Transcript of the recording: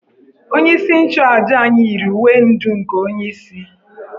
Onyeisi nchuàjà anyi yiri uwe ndú nke onyeisi